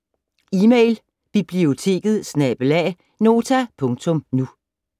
Email: biblioteket@nota.nu